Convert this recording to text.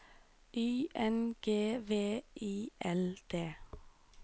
Y N G V I L D